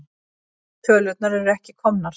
Tölurnar eru ekki komnar.